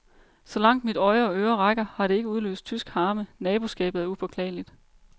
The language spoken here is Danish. Så langt mit øje og øre rækker, har det ikke udløst tysk harme, naboskabet er upåklageligt.